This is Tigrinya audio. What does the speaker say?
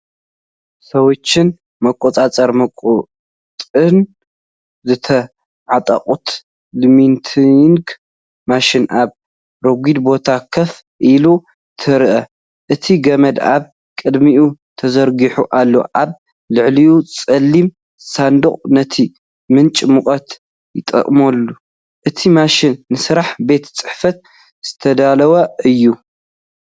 ስዊችን መቆጻጸሪ ሙቐትን ዝተዓጠቐት ላሚነቲንግ ማሽን ኣብ ረጒድ ቦታ ኮፍ ኢላ ትረአ። እቲ ገመድ ኣብ ቅድሚኡ ተዘርጊሑ ኣሎ፤ ኣብ ልዕሊኡ ጸሊም ሳንዱቕ ነቲ ምንጪ ሙቐት ይጥቀመሉ። እቲ ማሽን ንስራሕ ቤት ጽሕፈት ዝተዳለወ እዩ፡፡